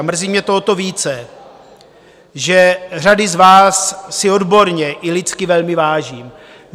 A mrzí mě to o to více, že řady z vás si odborně i lidsky velmi vážím.